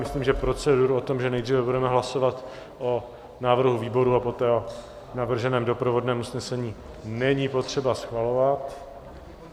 Myslím, že proceduru o tom, že nejdříve budeme hlasovat o návrhu výboru a poté o navrženém doprovodném usnesení, není potřeba schvalovat.